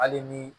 Hali ni